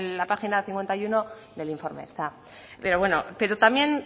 la página cincuenta y uno del informe está pero bueno también